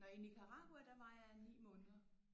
Nå i Nicaragua der var jeg i 9 måneder